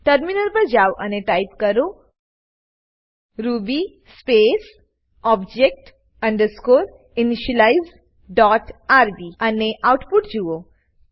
terminal પર જાવ અને ટાઈપ કરો ruby space object underscore initialize dot R B અને આઉટપુટ જુઓ